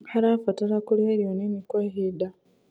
harabatara kũrĩa irio nini kwa ihinda